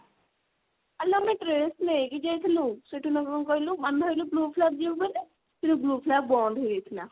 ଆଲୋ ଆମେ dress ନେଇକି ଯାଇଥିଲୁ ସେଠି ନହେଲେ କଣ କହିଲୁ ଆମେ ଭାବିଥିଲୁ proof lab ଯିବୁ ବୋଲି କିନ୍ତୁ proof lab ବନ୍ଦ ହେଇଯାଇଥିଲା।